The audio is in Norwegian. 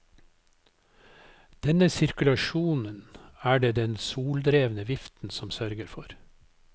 Denne sirkulasjonen er det den soldrevne viften som sørger for.